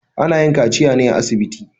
Ana yin kaciya ne a asibiti.